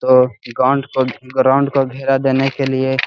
तो ग्राउंड को ग्राउंड को घेरा देने के लिए --